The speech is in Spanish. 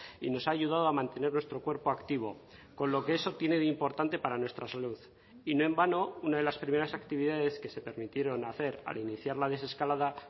y nos ha ayudado a mantener nuestro cuerpo activo con lo que eso tiene de importante para nuestra salud y no en vano una de las primeras actividades que se permitieron hacer al iniciar la desescalada